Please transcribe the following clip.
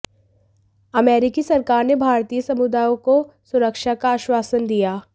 अमेरिकी सरकार ने भारतीय समुदाय को सुरक्षा का आश्वासन दिया